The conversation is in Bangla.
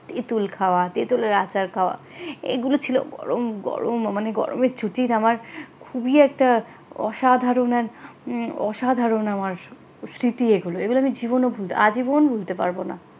তেঁতুল খাওয়া তেতুলের আচার খাওয়া এগুলো ছিল গরম গরম মানে গরমের ছুটির আমার খুবই একটা অসাধারণ এক অসাধারণ আমার স্মৃতি এগুলো এগুলো আমি জীবনেও ভুলতে আজীবন ভুলতে পারবো না।